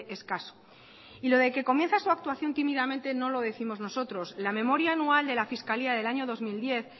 escaso y lo de que comienza su actuación tímidamente no lo décimos nosotros la memoria anual de la fiscalía del año dos mil diez